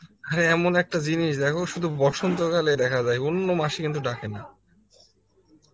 হ্যাঁ এমন একটা জিনিস দেখো সুধু বসন্ত কালে দেখা যায় অন্য মাসে কিন্তু ডাকে না